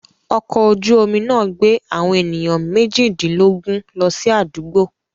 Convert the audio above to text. Ọkọ̀ ojú-omi náà gbé àwọn ènìyàn méjìdínlógún lọ sí àdúgbò